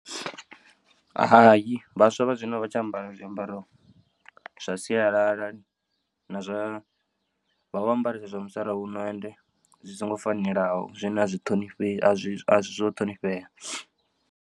Hai vhaswa vha zwino a vha tsha ambara zwiambaro zwa sialala na zwa vha vho ambaresa zwa musalauno and zwi songo fanelaho zwine a zwi ṱhonifhei a si zwo ṱhonifhea.